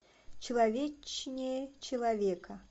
человечнее человека